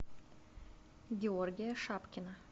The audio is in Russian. георгия шапкина